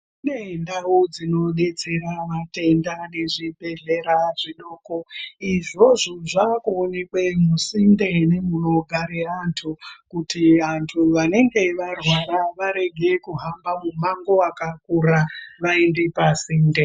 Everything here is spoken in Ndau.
Kune ndau dzinodetsera vatenda nezvibhedhlera zvidoko, izvozvo zvaakuonekwe musinde nemunogare antu, kuti antu anenge arwara varege kuhamba mumango wakakura ,vaende pasinde.